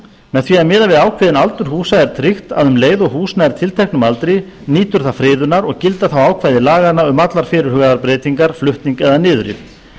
með því að miða við ákveðinn aldur húsa er tryggt að um leið og hús nær tilteknum aldri nýtur það friðunar og gilda þá ákvæði laganna um allar fyrirhugaðar breytingar flutning eða niðurrif